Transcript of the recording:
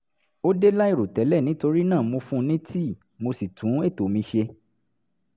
ó dé láìrò tẹ́lẹ̀ nítorí náà mo fún un ní tíì mo sì tún ètò mi ṣe